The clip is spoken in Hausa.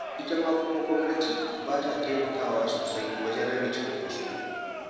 Ita ma kuma gwamnati ba ta taimakawa sosai wajen rage cunkoso.